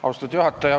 Austatud juhataja!